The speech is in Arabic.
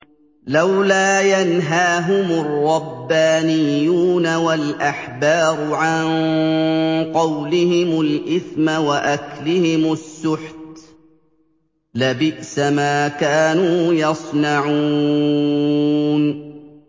لَوْلَا يَنْهَاهُمُ الرَّبَّانِيُّونَ وَالْأَحْبَارُ عَن قَوْلِهِمُ الْإِثْمَ وَأَكْلِهِمُ السُّحْتَ ۚ لَبِئْسَ مَا كَانُوا يَصْنَعُونَ